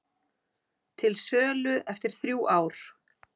Til sölu eftir þrjú ár